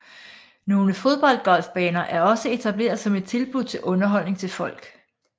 Nogle fodboldgolfbaner er også etableret som et tilbud til underholdning til folk